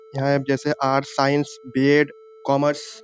यहा जैसे arts science B Ed. Commerce --